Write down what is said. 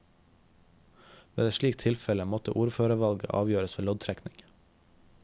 Ved et slikt tilfelle måtte ordførervalget avgjøres ved loddtrekning.